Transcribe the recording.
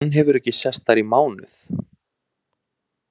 Hann hefur ekki sést þar í mánuð.